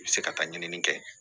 I bɛ se ka taa ɲinini kɛ